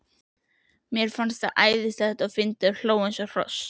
Mér fannst það æðislega fyndið og hló eins og hross.